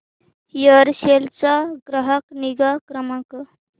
Aircel चा ग्राहक निगा क्रमांक